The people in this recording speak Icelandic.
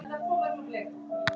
Ég sé hann.